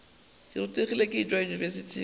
ke rutegile ke tšwa yunibesithing